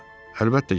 Əlbəttə girəcəm.